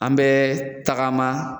An bɛ tagama